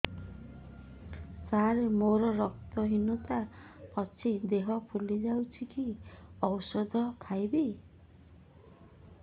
ସାର ମୋର ରକ୍ତ ହିନତା ଅଛି ଦେହ ଫୁଲି ଯାଉଛି କି ଓଷଦ ଖାଇବି